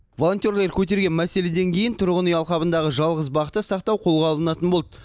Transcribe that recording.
волонтерлер көтерген мәселеден кейін тұрғын үй алқабындағы жалғыз бақты сақтау қолға алынатын болды